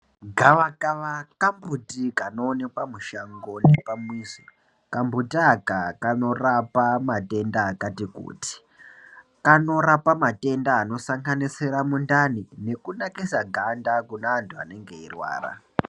Gavakava kambuti kanoonekwe mushango nepamizi. Kambuti aka kanorapa matenda akati kuti, kanorapa matenda anosanganisira mundani, nekunakisa ganda kune anthu anenge eirwara.